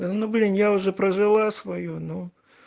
но блин я уже прожила своё но